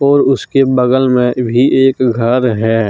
और उसके बगल में भी एक घर है।